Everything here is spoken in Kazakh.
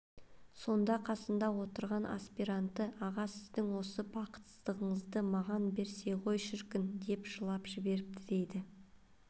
сонда қасында отырған аспиранты аға сіздің осы бақытсыздығыңызды маған берсе ғой шіркін деп жылап жіберіпті дейді